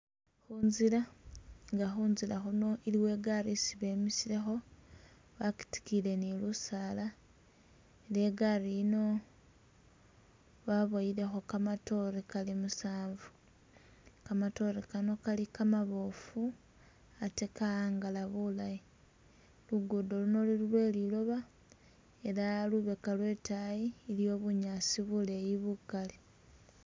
Inzila nga khunzila khuno iliwo igaari isi bemisilekho bagidigiyile ni lusaala nga igaari yino babowelekho gamadore gali musanvu, gamadore gano gali gamabofu atee gahangala bulayi, lugudo luno luli lweliloba ela lubega lwedayi iliyo bunyasi buleyi bugali.